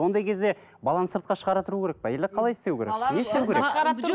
ондай кезде баланы сыртқа шығара тұру керек пе или қалай істеу керек не істеу керек